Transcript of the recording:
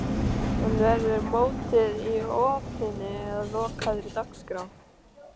En verður mótið í opinni eða lokaðri dagskrá?